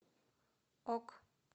ок